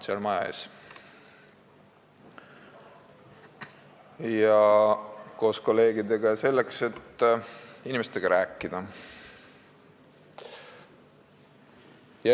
Mina käisin täna koos kolleegidega maja ees, selleks et inimestega rääkida.